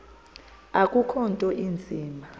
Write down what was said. akukho nto inzima